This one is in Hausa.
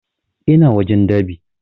Ina wajen dab'i